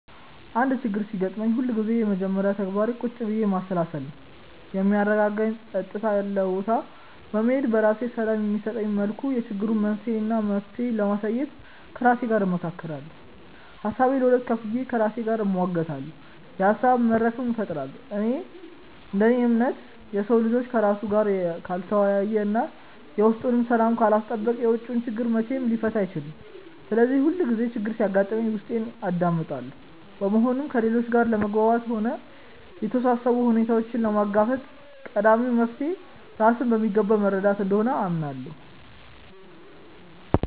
አንድ ችግር ሲያጋጥመኝ ሁልጊዜም የመጀመሪያ ተግባሬ ቁጭ ብዬ ማሰላሰል ነው። የሚያረጋጋኝ ጸጥ ያለ ቦታ በመሄድ፣ ለራሴ ሰላም በሚሰጠኝ መልኩ የችግሩን መንስኤ እና መፍትሄ ለማየት ከራሴ ጋር እመካከራለሁ። ሀሳቤን ለሁለት ከፍዬ ከራሴ ጋር እሟገታለሁ፤ የሀሳብ መድረክም እፈጥራለሁ። እንደ እኔ እምነት፣ የሰው ልጅ ከራሱ ጋር ካልተወያየ እና የውስጡን ሰላም ካላስጠበቀ የውጪውን ችግር መቼም ሊፈታ አይችልም። ስለዚህ ሁሌም ችግር ሲያጋጥመኝ ውስጤን አዳምጣለሁ። በመሆኑም ከሌሎች ጋር ለመግባባትም ሆነ የተወሳሰቡ ሁኔታዎችን ለመጋፈጥ ቀዳሚው መፍትሔ ራስን በሚገባ መረዳት እንደሆነ አምናለሁ።